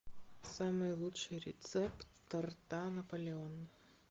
самый лучший рецепт торта наполеон